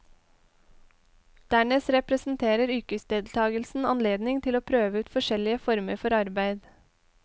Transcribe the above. Dernest representerer yrkesdeltagelsen anledning til å prøve ut forskjellige former for arbeid.